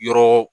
Yɔrɔ